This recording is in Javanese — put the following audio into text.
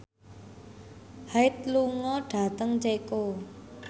Hyde lunga dhateng Ceko